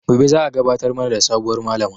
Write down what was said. Gobe za a gabatar mana da sabuwar Malama